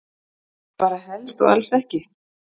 Bara helst og alls ekki.